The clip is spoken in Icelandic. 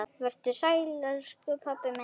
Vertu sæll, elsku pabbi minn.